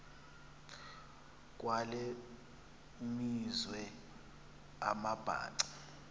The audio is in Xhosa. kwale meazwe amabhaca